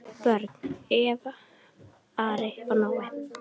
Börn: Eva, Ari og Nói.